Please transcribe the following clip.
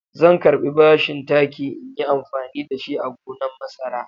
Zan karɓi bashin taki in yi amfani da shi a gonan masara.